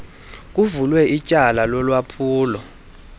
kuvulwe ityala lolwaphulo